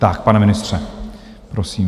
Tak, pane ministře, prosím.